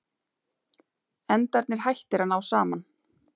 Endarnir hættir að ná saman.